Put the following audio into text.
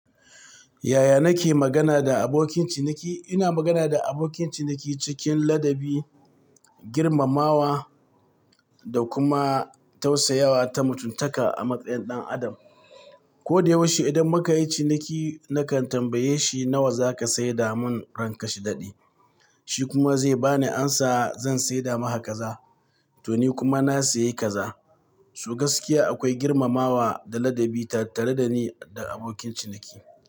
Yaya nake magana da abokin ciniki? Ina magana da abokin ciniki cikin ladabi, girmamawa da kuma tausayawa ta mutuntaka a matsayin ɗan adam. Ko da yaushe idan muka yi ciniki, nakan tambaye shi nawa zaka sayar da mun ranka shidaɗi, shi kuma zai bani amsa zan sayar da maka kaza, to ni kuma na sayi kaza. To gaskiya akwai girmamawa da ladabi tare da ni da abokin ciniki.